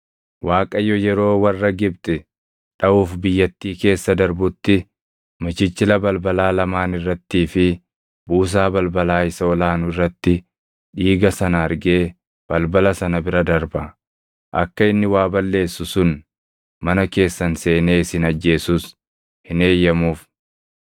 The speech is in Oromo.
Waaqayyo yeroo warra Gibxi dhaʼuuf biyyattii keessa darbutti michichila balbalaa lamaan irrattii fi buusaa balbalaa isa ol aanu irratti dhiiga sana argee balbala sana bira darba; akka inni waa balleessu sun mana keessan seenee isin ajjeesus hin eeyyamuuf.